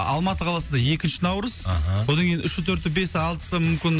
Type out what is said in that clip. алматы қаласында екінші наурыз аха одан кейін үші төрті бесі алтысы мүмкін